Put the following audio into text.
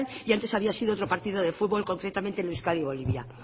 y antes había sido otro partido de fútbol concretamente el euskadi bolivia